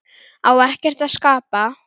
Á ekkert að skapa?